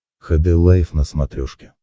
хд лайф на смотрешке